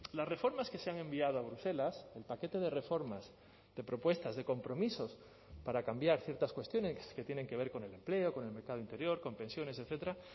las reformas que se han enviado a bruselas el paquete de reformas de propuestas de compromisos para cambiar ciertas cuestiones que tienen que ver con el empleo con el mercado interior con pensiones etcétera